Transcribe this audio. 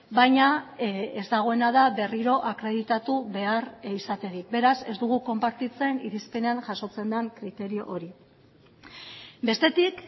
baina ez dagoena da berriro akreditatu behar izaterik beraz ez dugu konpartitzen irizpenean jasotzen den kriterio hori bestetik